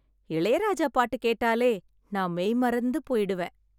இளையராஜா பாட்டு கேட்டாலே நான் மெய்மறந்து மறந்து போய்விடுவேன்.